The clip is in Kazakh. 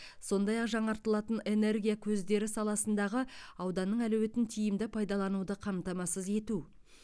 сондай ақ жаңартылатын энергия көздері саласындағы ауданның әлеуетін тиімді пайдалануды қамтамасыз ету